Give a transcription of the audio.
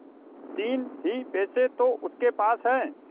तीन ही पैसे तो उसके पास हैं